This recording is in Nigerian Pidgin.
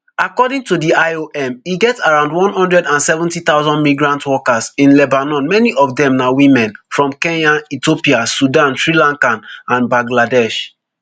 according to di iom e get around one hundred and seventy thousand migrant workers in lebanon many of dem na women from kenya ethiopia sudan sri lanka and bangladesh